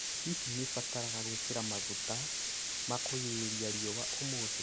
Hihi nĩ ndĩbataraga gwĩkĩra maguta makũgirĩrĩria riua ũmũthĩ?